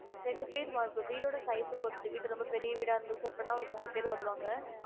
ரெண்டு பேர் வா~ வீடோட size ஆ பொறுத்து வீடு ரொம்ப பெரிய வீடா இருந்துச்சு அப்டினா ஒரு மூணு பேரு வருவாங்க